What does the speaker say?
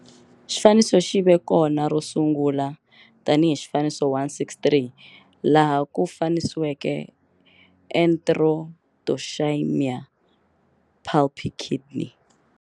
Xifaniso xi ve kona ro sungula tani hi xif. 163 laha ku fanisiweke Enterotoxaemia, pulpy kidney.